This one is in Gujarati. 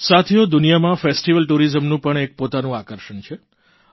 સાથીઓ દુનિયામાં ફેસ્ટિવલ tourisamનું પણ પોતાનું એક આકર્ષણ છે